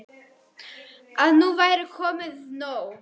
Að nú væri komið nóg.